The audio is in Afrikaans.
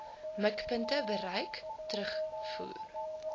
mikpunte bereik terugvoer